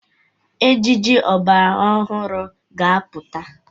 Ejiji ọgbara ọhụrụ ga-apụta.